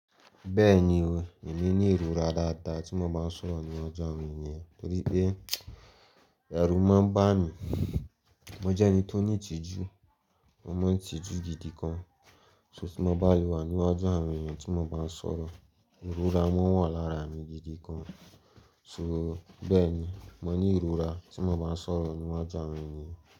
Bẹ́ẹ̀ni o, èmi ní ìrora dáadáa tí mo má ń sọ̀rọ̀ ní ọju àwon eniyàn torí pé ẹrù máa ń bà mí. Mo jẹ́ ẹni tó ní ìtìjú, mo mọ ìtìjú gidi kan. So tí mo bá lè wà ní ọju àwon eniyàn tí mo bá ń sọ̀rọ̀, ìrora máa wà lára mi gidi gan. So bẹ́ẹ̀ni, mo ní ìrora tí mo bá ń sọ̀rọ̀ ní iwaju àwon eniyàn.